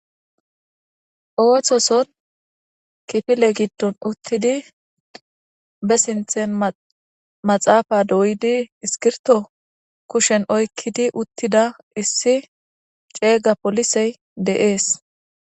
Ooththoson kifile giddon uttidi be sinthen ma maxaafa dooyidi iskirto kushen oykkidi uttida issi ceega polisey de7ees.